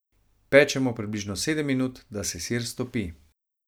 Pečemo približno sedem minut, da se sir stopi.